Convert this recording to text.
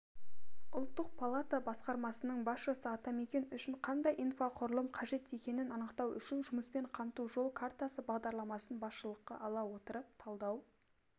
ұлттық палата басқармасының басшысы атамекен үшін қандай инфрақұрылым қажет екенін анықтау үшін жұмыспен қамту жол картасы бағдарламасын басшылыққа ала отырып талдау